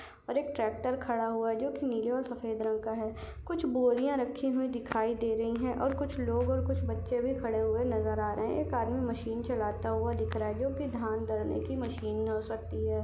और एक ट्रॅक्टर खड़ा हुआ है जो की नीले और सफेद रंग का है कुछ बोरिया नजर आ रही है और कुछ लोग और कुछ बच्चे भी खड़े हुए नजर आ रहे है एक आदमी मशीन चलाते हुआ दिख रहा है जो की धान दलनेकी मशीन हो सकती है।